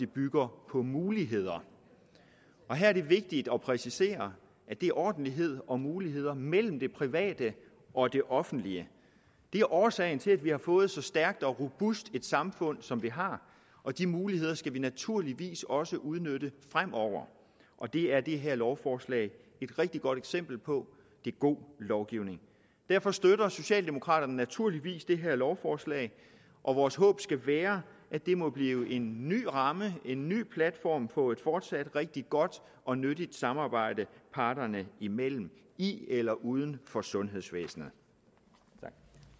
bygger på muligheder og her er det vigtigt at præcisere at det er ordentlighed og muligheder mellem det private og det offentlige det er årsagen til at vi har fået så stærkt og robust et samfund som vi har og de muligheder skal vi naturligvis også udnytte fremover og det er det her lovforslag et rigtig godt eksempel på det er god lovgivning derfor støtter socialdemokraterne naturligvis det her lovforslag og vores håb skal være at det må blive en ny ramme en ny platform for et fortsat rigtig godt og nyttigt samarbejde parterne imellem i eller uden for sundhedsvæsenet